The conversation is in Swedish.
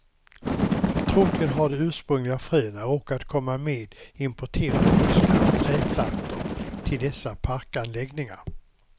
Troligen har de ursprungliga fröna råkat komma med importerade buskar och trädplantor till dessa parkanläggningar.